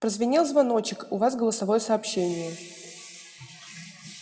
прозвенел звоночек у вас голосовое сообщение